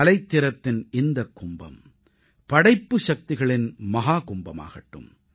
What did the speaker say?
கலைத்திறத்தின் இந்தக் கும்பம் படைப்பு சக்திகளின் மஹாகும்பமாகட்டும்